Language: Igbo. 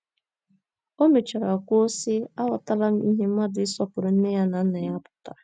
O mechara kwuo, sị: “ Aghọtala m ihe mmadụ ịsọpụrụ nne ya na nna ya pụtara.